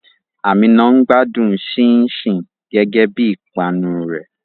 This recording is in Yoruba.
Àmíná ń gbádùn ṣínṣìn gẹ́gẹ́ bí ìpanu rẹ̀.